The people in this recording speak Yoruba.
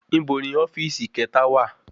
Ibo ni ofíìsì kẹta wa?